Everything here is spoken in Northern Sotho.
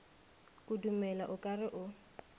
kudumela o ka re o